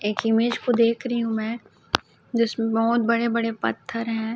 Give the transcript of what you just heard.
एक इमेज को देख रही हूं मैं जिसमें बहुत बड़े बड़े पत्थर हैं।